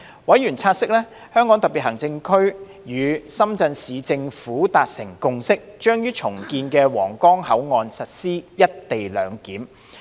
委員察悉，香港特別行政區與深圳市政府達成共識，將於重建的皇崗口岸實施"一地兩檢"。